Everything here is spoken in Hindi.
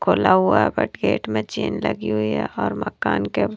खोला हुआ है बट गेट में चैन लगी हुई है और मकान के--